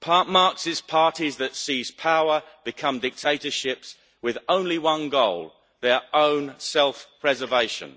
Marxist parties that seize power become dictatorships with only one goal their own self preservation.